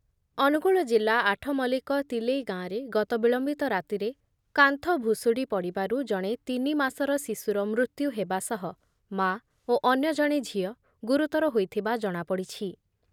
ଅନୁଗୋଳ ଜିଲ୍ଲା ଆଠମଲ୍ଲିକ ତିଲେଇ ଗାଁରେ ଗତ ବିଳମ୍ବିତ ରାତିରେ କାନ୍ଥ ଭୁଶୁଡ଼ି ପଡ଼ିବାରୁ ଜଣେ ତିନି ମାସର ଶିଶୁର ମୃତ୍ୟୁ ହେବା ସହ ମା ଓ ଅନ୍ୟ ଜଣେ ଝିଅ ଗୁରୁତର ହୋଇଥିବା ଜଣାପଡ଼ିଛି ।